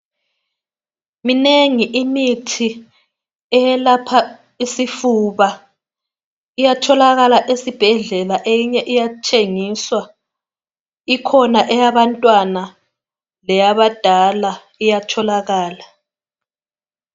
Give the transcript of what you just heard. Minengi imithi eyelapha isifuba iyatholakala esibhedlela eyinye iyathengisa ikhona eyabantwana leyabadala iyatholakala